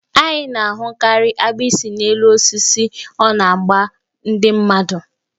Anyị na-ahụkarị agbịsị n'elu osisi, ọ na-agba ndị mmadụ.